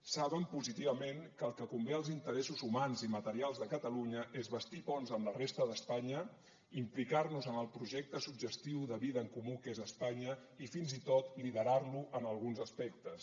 saben positivament que el que convé als interessos humans i materials de catalunya és bastir ponts amb la resta d’espanya implicar nos en el projecte suggestiu de vida en comú que és espanya i fins i tot liderar lo en alguns aspectes